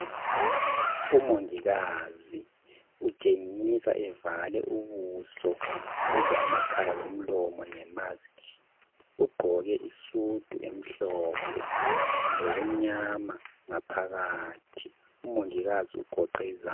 Umongikazi utshengisa evale ubuso, kumbe amakhala lomlomo ngemask. Ugqoke isudu emhlophe. Lokumnyama ngapgakathi. Umongikazi ugoqe iza...